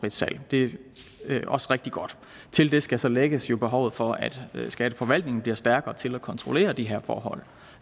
et salg det er også rigtig godt til det skal så lægges behovet for at skatteforvaltningen bliver stærkere til at kontrollere de her forhold